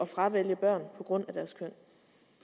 fravælge børn på grund